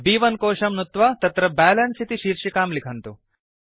ब्1 कोषं नुत्वा तत्र बैलेन्स इति शीर्षिकां लिखन्तु